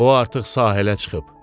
O artıq sahilə çıxıb.